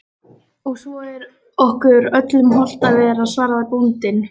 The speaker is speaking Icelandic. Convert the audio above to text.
Og svo er okkur öllum hollt að vera, svaraði bóndinn.